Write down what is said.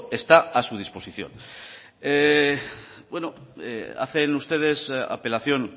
está a su disposición bueno hacen ustedes apelación